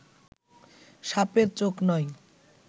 সাপের চোখ নয়